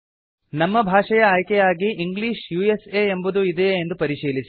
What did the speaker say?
ನಮ್ಮ ಭಾಷೆಯ ಆಯ್ಕೆಯಾಗಿ ಇಂಗ್ಲಿಷ್ ಉಸಾ ಎಂಬುದು ಇದೇಯೇ ಎಂದು ಪರಿಶೀಲಿಸಿ